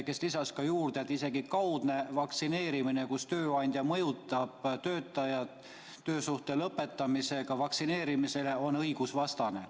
Ta lisas, et isegi kaudne sund, kui tööandja mõjutab töötajat vaktsineerima, ähvardades töösuhte lõpetada, on õigusvastane.